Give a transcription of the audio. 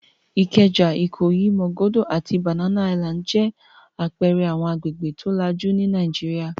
Ìkẹjà, Ìkòyí, Màgódō àti Banana Island jẹ́ àpẹẹrẹ àwọn agbègbè tó lajú ní Nàìjíríà.